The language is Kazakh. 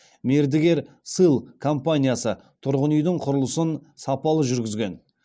мердігер сыл компаниясы тұрғын үйдің құрылысын сапалы жүргізген